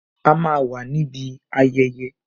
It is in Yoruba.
A máa wà níbi ayẹyẹ